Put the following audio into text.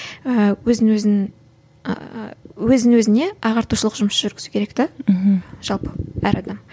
ііі өзін өзін ііі өзін өзіне ағартушылық жұмыс жүргізу керек де мхм жалпы әр адам